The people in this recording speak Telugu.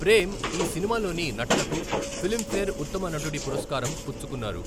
ప్రేమ్ ఈ సినిమాలోని నటనకు ఫిలింఫేర్ ఉత్తమ నటుడి పురస్కారం పుచ్చుకున్నారు.